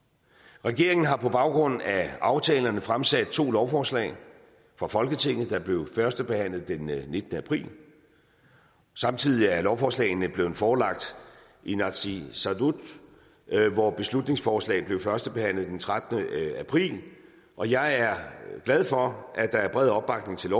regeringen har på baggrund af aftalerne fremsat to lovforslag for folketinget der blev førstebehandlet den nittende april samtidig er lovforslagene blevet forelagt inatsisartut hvor beslutningsforslaget blev førstebehandlet den trettende april og jeg er glad for at der er bred opbakning til